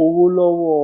owó lọwọ